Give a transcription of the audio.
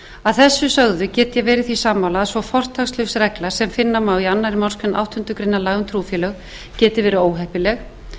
að þessu sögðu get ég verið því sammála að svo fortakslaus regla sem finna má í annarri málsgrein áttundu grein laga um trúfélög geti verið óheppileg